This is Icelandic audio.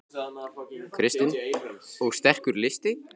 Kristinn: Og sterkur listi?